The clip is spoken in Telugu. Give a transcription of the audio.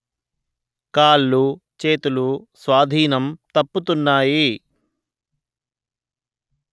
కాళ్ళు చేతులు స్వాధీనం తప్పుతున్నాయి